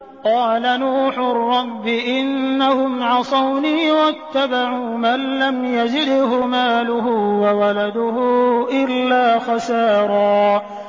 قَالَ نُوحٌ رَّبِّ إِنَّهُمْ عَصَوْنِي وَاتَّبَعُوا مَن لَّمْ يَزِدْهُ مَالُهُ وَوَلَدُهُ إِلَّا خَسَارًا